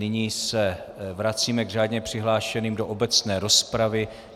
Nyní se vracíme k řádně přihlášeným do obecné rozpravy.